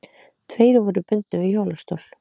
Tveir voru bundnir við hjólastól.